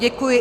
Děkuji.